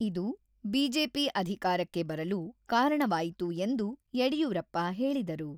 ಇದು ಬಿಜೆಪಿ ಅಧಿಕಾರಕ್ಕೆ ಬರಲು ಕಾರಣವಾಯಿತು ಎಂದು ಯಡಿಯೂರಪ್ಪ ಹೇಳಿದರು.